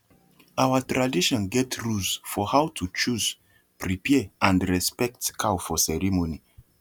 our tradition get rules for how to choose prepare and respect cow for ceremony